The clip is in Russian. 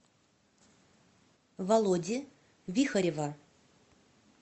володи вихарева